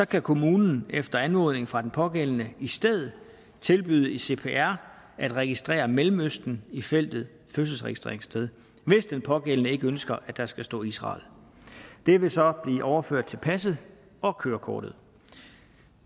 kan kommunen efter anmodning fra den pågældende i stedet tilbyde i cpr at registrere mellemøsten i feltet fødselsregistreringssted hvis den pågældende ikke ønsker at der skal stå israel det vil så blive overført til passet og kørekortet